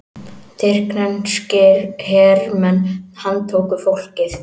Tyrkneskir hermenn handtóku fólkið